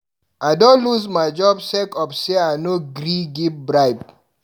I don loose my job sake of sey I no gree give bribe.